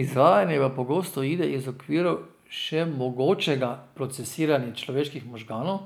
Izvajanje pa pogosto uide iz okvirov še mogočega procesiranja človeških možganov,